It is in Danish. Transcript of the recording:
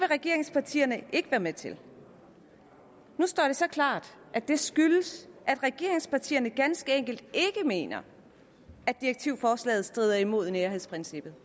regeringspartierne ikke være med til nu står det så klart at det skyldes at regeringspartierne ganske enkelt ikke mener at direktivforslaget strider imod nærhedsprincippet